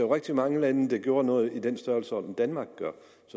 rigtig mange lande der gjorde noget i den størrelsesorden danmark gør